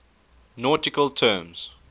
nautical terms